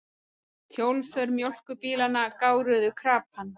Hjólför mjólkurbílanna gáruðu krapann.